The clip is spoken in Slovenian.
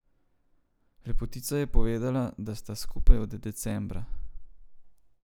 Lepotica je povedala, da sta skupaj od decembra.